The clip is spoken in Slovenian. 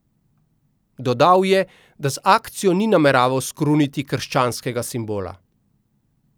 Dodal je, da z akcijo ni nameraval skruniti krščanskega simbola.